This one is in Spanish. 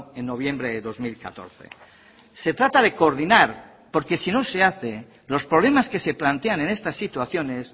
en noviembre de dos mil catorce se trata de coordinar porque si no se hace los problemas que se plantean en estas situaciones